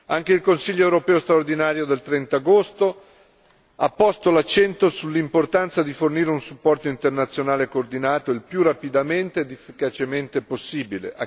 Anche il Consiglio europeo straordinario del 30 agosto 2014 ha posto l'accento sull'importanza di fornire un supporto internazionale coordinato il più rapidamente ed efficacemente possibile.